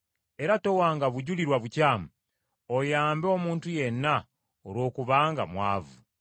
era towanga bujulirwa bukyamu oyambe omuntu yenna olwokubanga mwavu.